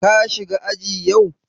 Ka shiga aji yau?